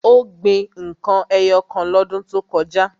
Ó gbin n kan ẹyọ kan lọ́dún tó kọjá.